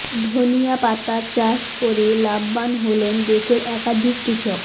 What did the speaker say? ধনিয়া পাতা চাষ করে লাভবান হলেন দেশের একাধিক কৃষক